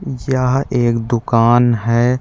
जहाँ एक दुकान है।